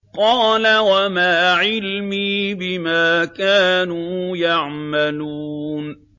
قَالَ وَمَا عِلْمِي بِمَا كَانُوا يَعْمَلُونَ